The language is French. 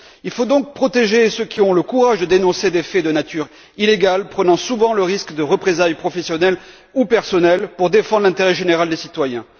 Il faut donc protéger ceux qui ont le courage de dénoncer des faits de nature illégale, prenant souvent le risque de représailles professionnelles, ou personnelles, pour défendre l'intérêt général des citoyens.